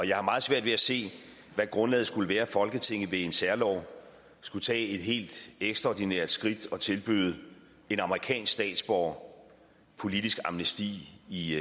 jeg har meget svært ved se hvad grundlaget skulle være for at folketinget ved en særlov skulle tage et helt ekstraordinært skridt og tilbyde en amerikansk statsborger politisk amnesti i